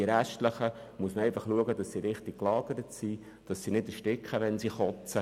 Bei den restlichen muss lediglich geschaut werden, dass diese richtig liegen und nicht ersticken, wenn sie erbrechen.